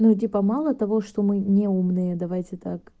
ну типа мало того что мы неумные давайте так